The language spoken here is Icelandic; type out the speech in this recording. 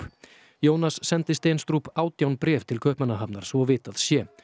Jónas sendi átján bréf til Kaupmannahafnar svo vitað sé